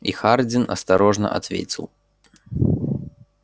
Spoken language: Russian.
и хардин осторожно ответил